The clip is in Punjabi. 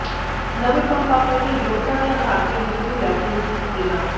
ਨਵੇ ਪੰਪ ਆਪਰੇਟਰ ਯੋਗਤਾ ਦੇ ਅਧਾਰ ਤੇ ਇੰਟਰਵਿਊ ਲੈਕੇ ਨਿਯੁਕਤ ਕੀਤੇ ਜਾਣ